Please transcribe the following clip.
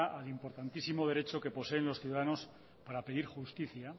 al importantísimo derecho que poseen los ciudadanos para pedir justicia